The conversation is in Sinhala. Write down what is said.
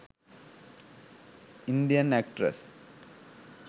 indian actress